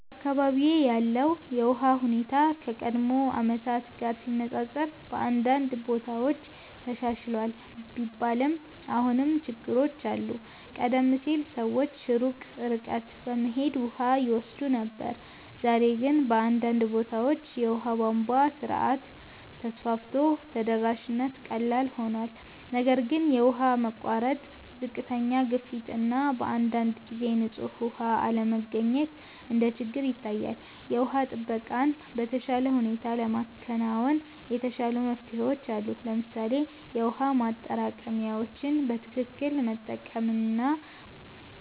በአካባቢዬ ያለው የውሃ ሁኔታ ከቀድሞ ዓመታት ጋር ሲነፃፀር በአንዳንድ ቦታዎች ተሻሽሏል ቢባልም አሁንም ችግሮች አሉ። ቀደም ሲል ሰዎች ሩቅ ርቀት በመሄድ ውሃ ይወስዱ ነበር፣ ዛሬ ግን በአንዳንድ ቦታዎች የውሃ ቧንቧ ስርዓት ተስፋፍቶ ተደራሽነት ቀላል ሆኗል። ነገር ግን የውሃ መቋረጥ፣ ዝቅተኛ ግፊት እና በአንዳንድ ጊዜ ንጹህ ውሃ አለመገኘት እንደ ችግር ይታያል። የውሃ ጥበቃን በተሻለ ሁኔታ ለማከናወን የተሻሉ መፍትሄዎች አሉ። ለምሳሌ የውሃ ማጠራቀሚያዎችን በትክክል መጠቀም እና